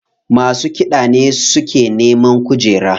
Masu kiɗa ne suke neman kujera.